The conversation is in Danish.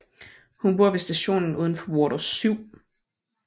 Hun bor ved stationen udenfor Water 7